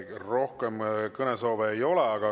Rohkem kõnesoove ei ole.